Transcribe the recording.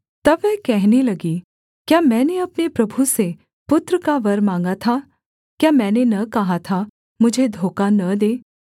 तब वह कहने लगी क्या मैंने अपने प्रभु से पुत्र का वर माँगा था क्या मैंने न कहा था मुझे धोखा न दे